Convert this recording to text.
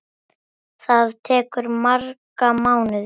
Það tekur marga mánuði.